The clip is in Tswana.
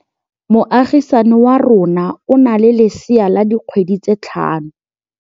Moagisane wa rona o na le lesea la dikgwedi tse tlhano.